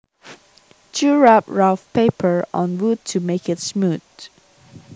To rub rough paper on wood to make it smooth